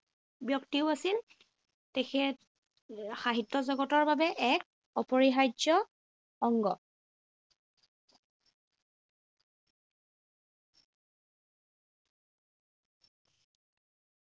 ব্যক্তিও আছিল। তেখেত সাহিত্য জগতৰ বাবে এক অপৰিহাৰ্য অংগ।